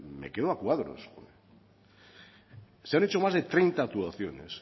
me quedo a cuadros se han hecho más de treinta actuaciones